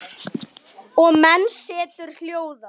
Og menn setur hljóða.